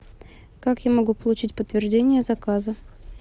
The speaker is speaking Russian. как я могу получить подтверждение заказа